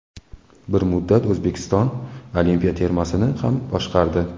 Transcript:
Bir muddat O‘zbekiston olimpiya termasini ham boshqardi.